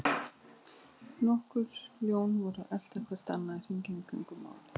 Nokkur ljón voru að elta hvert annað hringinn í kringum málið.